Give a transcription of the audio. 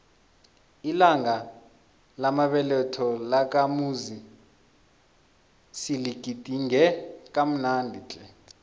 ilanga lamabeletho lakamuzi siligidinge kamnandi tle